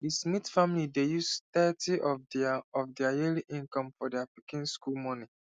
the smith family dey use thirty of their of their yearly income for their pikin school money